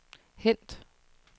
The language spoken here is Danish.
hent